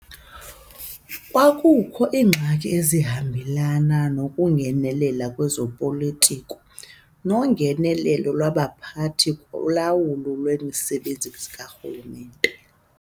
Kukwakho iingxaki ezihambelana nokungenelela kwezopolitiko nongenelelo lwabaphathi kulawulo lwemisebenzi karhulumente.